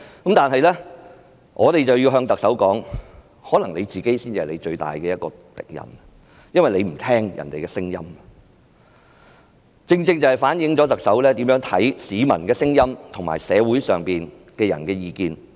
然而，我們要告訴特首，可能她才是自己最大的敵人，因為她不聽別人的聲音，正正反映出特首如何看待市民的聲音和社會人士的意見。